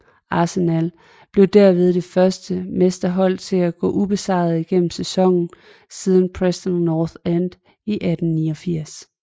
Arsenal blev derved det første mesterhold til at gå ubesejret igennem sæsonen siden Preston North End i 1889